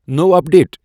نٔو update.